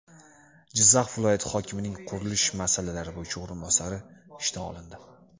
Jizzax viloyati hokimining qurilish masalalari bo‘yicha o‘rinbosari ishdan olindi.